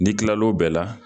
N'i kilal'w bɛɛ la